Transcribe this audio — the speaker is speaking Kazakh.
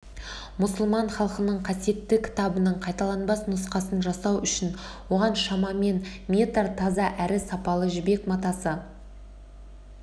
мұсылман халқының қасиетті кітабының қайталанбас нұсқасын жасау үшін оған шамамен метр таза әрі сапалы жібек матасы